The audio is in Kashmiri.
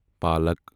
پالکَ